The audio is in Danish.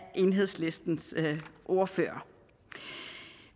enhedslistens ordfører